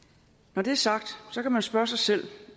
når det er sagt kan man spørge sig selv